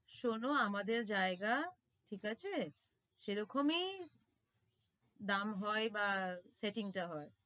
শোনো আমাদের জায়গা ঠিক আছে সেরকমই দাম হয় বা setting টা হয়